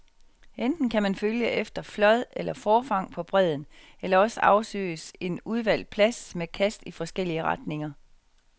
Enten kan man følge efter flåd eller forfang på bredden, eller også afsøges en udvalgt plads med kast i forskellige retninger.